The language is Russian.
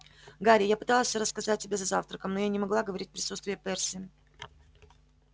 гарри я пыталась всё рассказать тебе за завтраком но я не могла говорить в присутствии перси